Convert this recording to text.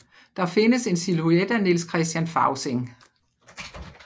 Der findes en silhouet af Niels Christian Fausing